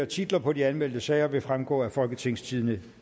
titler på de anmeldte sager vil fremgå af folketingstidende